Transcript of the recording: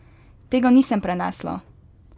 Tega nisem prenesla!